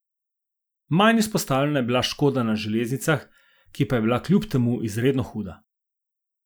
Manj izpostavljena je bila škoda na železnicah, ki pa je bila kljub temu izredno huda.